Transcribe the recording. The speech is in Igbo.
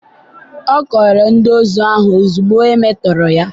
ọ kọọrọ ndị ozu ahụ ozugbo e metọrọ ya.